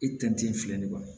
I tɛntɛn filɛ nin ye kɔni